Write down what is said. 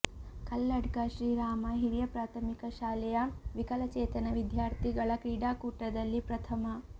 ಕಲ್ಲಡ್ಕ ಶ್ರೀರಾಮ ಹಿರಿಯ ಪ್ರಾಥಮಿಕ ಶಾಲೆಯ ವಿಕಲ ಚೇತನ ವಿದ್ಯಾರ್ಥಿಗಳ ಕ್ರೀಡಾಕೂಟದಲ್ಲಿ ಪ್ರಥಮ